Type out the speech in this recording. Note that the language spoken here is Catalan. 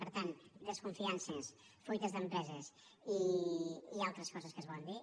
per tant desconfiances fuites d’empreses i altres coses que es volen dir